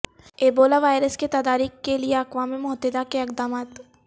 Ebola virus کے تدارک کے لئے اقوام متحدہ کے اقدامات